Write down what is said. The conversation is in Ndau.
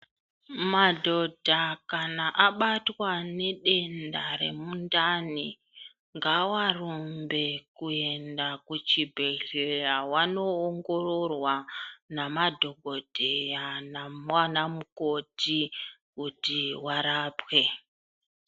Madhodha kana abatwa nedenda remundani, ngawarumbe kuenda kuchibhedhleya vanoongororwa namadhogodheya nanamukoti kuti varapwe.